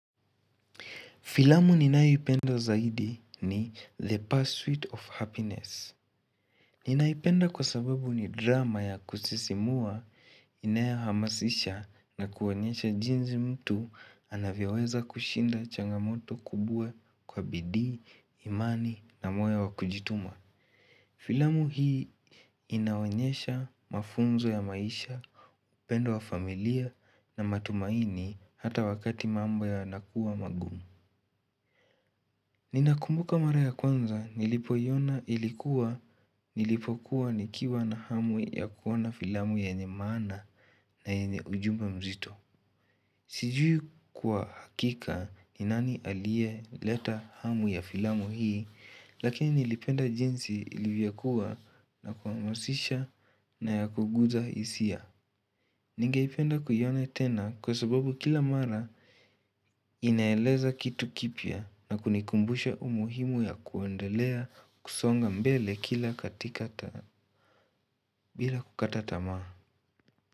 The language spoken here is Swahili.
Filamu ninayoipendo zaidi ni The Pursuit of Happiness. Ninaipenda kwa sababu ni drama ya kusisimua, inayohamasisha na kuonyesha jinzi mtu anavyoweza kushinda changamoto kubue kwa bidii, imani na moyo wa kujituma. Filamu hii inaonyesha mafunzo ya maisha, upendo wa familia na matumaini hata wakati mambo yanakuwa magumu. Ninakumbuka mara ya kwanza nilipoiona ilikuwa nilipokuwa nikiwa na hamu ya kuoana filamu yenye maana na yenye ujumbe mzito. Sijui kwa hakika ni nani aliyeleta hamu ya filamu hii lakini nilipenda jinsi ilivyokuwa na kuhamasisha na ya kuguza hisia. Ningeipenda kuiona kwa sababu kila mara inaeleza kitu kipya na kunikumbusha umuhimu wa kuendelea kusonga mbele kila katika bila kukata tamaa.